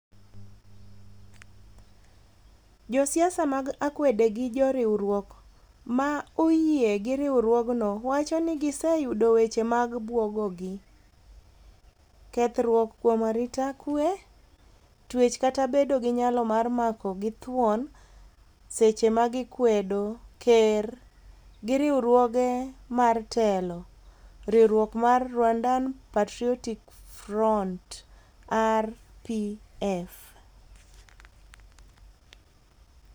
josiasa mag akwede gi joriwruok ma oyie gi riwruogno wacho ni giseyudo weche mag buogogi, kethruok kuom arita kwe, twech kata bedo gi nyalo mar mako gi githuon seche ma gikwedo. ker gi riwruoge mar telo, Riwruok mar Rwandan Patriotic Front (RPF)